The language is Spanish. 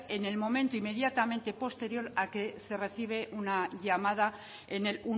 en el momento inmediatamente posterior al que se recibe una llamada en el